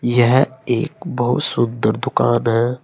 यह एक बहुत सुंदर दुकान है।